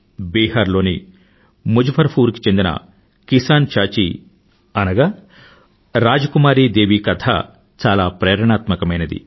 బిహార్ లోని ముజఫ్ఫర్ పూర్ కి చెందిన కిసాన్ చాచీ అనగా రాజ్ కుమారీ దేవీ కథ చాలా ప్రేరణాత్మకమైనది